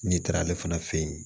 N'i taara ale fana fe yen